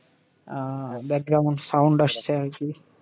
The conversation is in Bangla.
আহ Background sound আসছে আর কি!